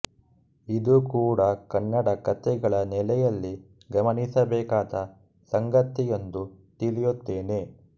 ಇದೂ ಕೂಡ ಕನ್ನಡ ಕತೆಗಳ ನೆಲೆಯಲ್ಲಿ ಗಮನಿಸಬೇಕಾದ ಸಂಗತಿಯೆಂದು ತಿಳಿಯುತ್ತೇನೆ